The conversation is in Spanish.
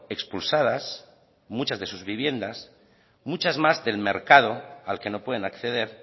expulsadas muchas de sus viviendas muchas más del mercado al que no pueden acceder